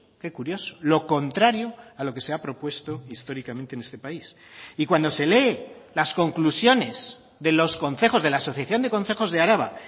qué curioso lo contrario a lo que se ha propuesto históricamente en este país y cuando se lee las conclusiones de los concejos de la asociación de concejos de araba